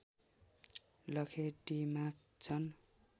लखेटिमाग्छन्